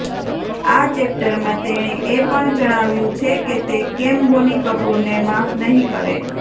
આ ચૅપ્ટરમાં તેણે એ પણ જણાવ્યું છે કે તે કેમ બોની કપૂરને માફ નહીં કરે